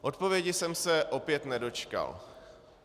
Odpovědi jsem se opět nedočkal.